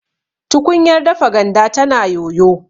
tukunyar dafa ganda tana yoyo